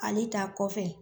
Ale ta kɔfɛ